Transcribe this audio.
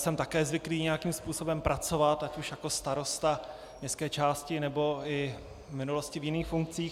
Jsem také zvyklý nějakým způsobem pracovat, ať už jako starosta městské části, nebo i v minulosti v jiných funkcích.